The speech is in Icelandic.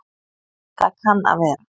Það kann að vera